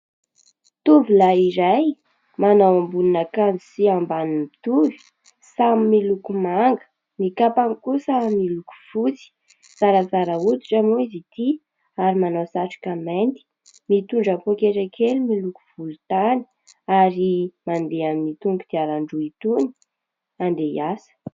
Tovolahy iray manao ambonin'akanjo sy ambany mitovy samy miloko manga. Ny kapany kosa miloko fotsy. Zarazara hoditra moa izy ity ary manao satroka mainty, mitondra pôketra kely miloko volontany ary mandeha amin'itony kodiaran-droa itony handeha hiasa.